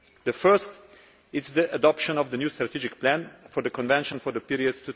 The first is the adoption of the new strategic plan for the convention for the period